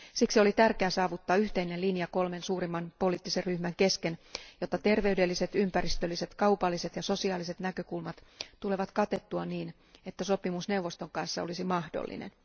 Siksi oli tärkeää saavuttaa yhteinen linja kolmen suurimman poliittisen ryhmän kesken, jotta terveydelliset, ympäristölliset, kaupalliset ja sosiaaliset näkökulmat tulevat katettua niin, että sopimus neuvoston kanssa olisi mahdollinen.